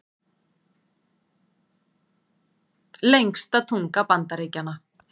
Lengsta tunga Bandaríkjanna